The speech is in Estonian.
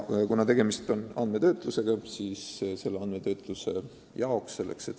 Kuna tegemist on andmetöötlusega, siis on selle süsteemi kasutamiseks vaja seaduslikku alust.